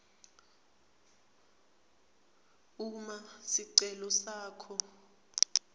uma sicelo sakho